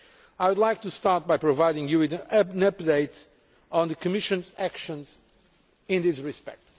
I would like to start by providing you with an update on the Commission's actions in this respect.